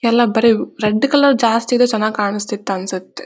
ಎಲ್ಲಾ ಬರಿ red colour ಜಾಸ್ತಿ ಇದೆ ಜಾಸ್ತಿ ಚನ್ನಾಗಿ ಕಾಣಸ್ತ ಅನ್ನ್ಸುತ್ತೆ.